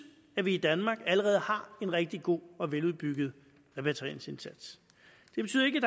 at vi i danmark allerede har en rigtig god og veludbygget repatrieringsindsats det betyder ikke